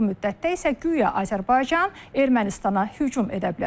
Bu müddətdə isə guya Azərbaycan Ermənistana hücum edə bilər.